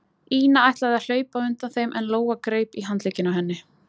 Ína ætlaði að hlaupa á undan þeim en Lóa greip í handlegginn á henni.